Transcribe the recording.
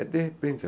É de repente.